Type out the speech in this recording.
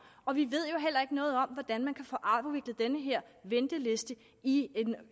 og vi ved jo heller ikke noget om hvordan man kan få afviklet den her venteliste i